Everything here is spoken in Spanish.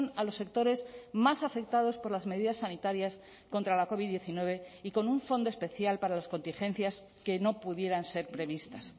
a los sectores más afectados por las medidas sanitarias contra la covid diecinueve y con un fondo especial para las contingencias que no pudieran ser previstas